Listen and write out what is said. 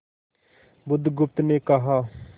बुधगुप्त ने कहा